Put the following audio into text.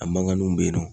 A mankanninw bɛ yen nɔ